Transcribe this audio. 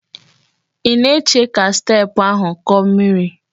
Ị na-eche ka steepụ ahụ kọọ miri?